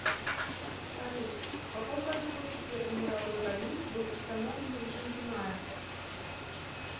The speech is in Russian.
салют в каком году после первой мировой войны был установлен режим дуная